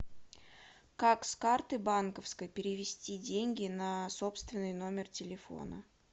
как с карты банковской перевести деньги на собственный номер телефона